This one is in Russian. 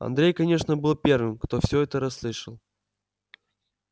андрей конечно был первым кто все это расслышал